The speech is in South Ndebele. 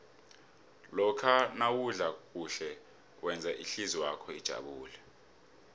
lokha nawudla kuhle wenza ihlizwakho ijabule